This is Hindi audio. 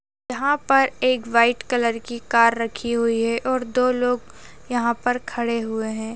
यहाँ पर एक व्हाइट कलर की कार रखी हुई है और दो लोग यहाँ पर खड़े हुए हैं।